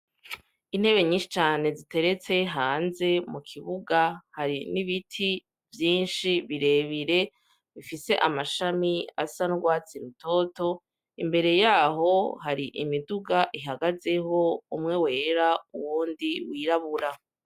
Intebe nyinshi cane ziteretse hanze mu kibuga hari n'ibiti vyinshi birebire bifise amashami asa n'urwatsi rutoto, imbere yaho hari ihagazeho, umwe wera uwundi wirabura.